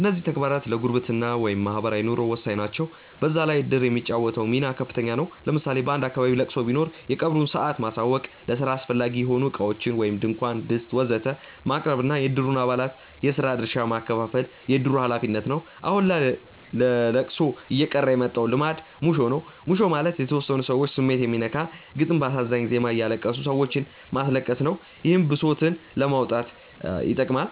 እነዚህም ተግባራት ለጉርብትና (ማህበራዊ ኑሮ) ወሳኝ ናቸው። በዛ ላይ እድር የሚጫወተው ሚና ከፍተኛ ነው። ለምሳሌ በአንድ አካባቢ ለቅሶ ቢኖር የቀብሩን ሰአት ማሳወቅ፣ ለስራ አስፈላጊ የሆኑ እቃዎችን (ድንኳን፣ ድስት ወዘተ...) ማቅረብ እና የእድሩን አባላት የስራ ድርሻ ማከፋፈል የእድሩ ሀላፊነት ነው። አሁን ላይ ለለቅሶ እየቀረ የመጣው ልማድ ሙሾ ነው። ሙሾ ማለት የተወሰኑ ሰዎች ስሜት የሚነካ ግጥም በአሳዛኝ ዜማ እያለቀሱ ሰዎችንም ማስለቀስ ነው። ይህም ብሶትን ለማውጣት ይጠቅማል።